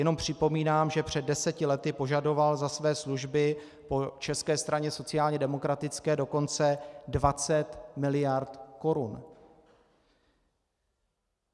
Jenom připomínám, že před deseti lety požadoval za své služby po České straně sociálně demokratické dokonce 20 mld. korun.